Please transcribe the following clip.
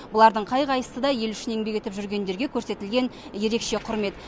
олардың қай қайсысы да ел үшін еңбек етіп жүргендерге көрсетілген ерекше құрмет